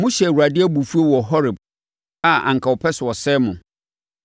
Mohyɛɛ Awurade abufuo wɔ Horeb a anka ɔpɛ sɛ ɔsɛe mo.